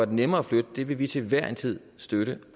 det nemmere at flytte vil vil vi til hver en tid støtte